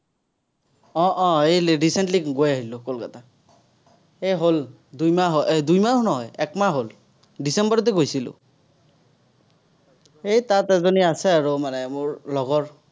আহ আহ এই recently গৈ আহিলো কলকাতা। এ হ'ল, দুইমাহ হ'ল, দুইমাহো নহয়, একমাহ হ'ল। ডিচেম্বৰতে গৈছিলো। এই তাত এজনী আছে আৰু মানে মোৰ লগৰ।